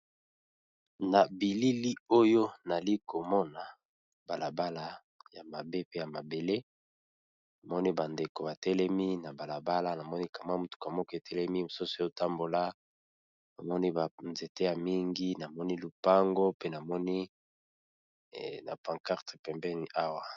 Na bilili oyo nazali komona balabala ya mabele namoni ba ndeko batelemi namoni mutuka ezo tambola ba nzete na lopango pe pancarte pembeni.